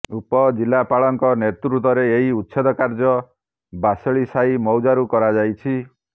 ଉପଜିଲାପାଳଙ୍କ ନେତୃତ୍ୱରେ ଏହି ଉଚ୍ଛେଦ କାର୍ଯ୍ୟ ବାସେଳିସାହି ମୌଜାରୁ କରାଯାଉଛି